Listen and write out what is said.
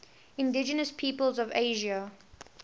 indigenous peoples of asia